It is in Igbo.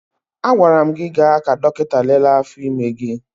Agwara m gị gaa ka dọkịta lelee afọ ime gị!